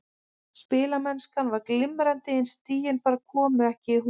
Spilamennskan var glimrandi en stigin bara komu ekki í hús.